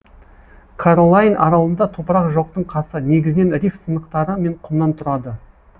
каролайн аралында топырақ жоқтың қасы негізінен риф сынықтары мен құмнан тұрады